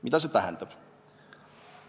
Mida see tähendab?